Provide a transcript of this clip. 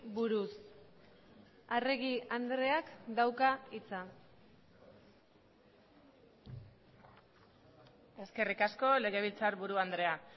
buruz arregi andreak dauka hitza eskerrik asko legebiltzarburu andrea